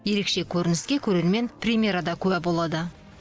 ерекше көрініске көрермен премьерада куә болады